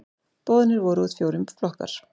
Boðnir voru út fjórir flokkar.